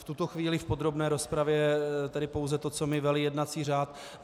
V tuto chvíli v podrobné rozpravě tedy pouze to, co mi velí jednací řád.